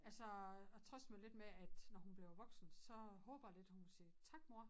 Altså jeg trøster mig lidt med at når hun bliver voksen så håber jeg lidt hun siger tak mor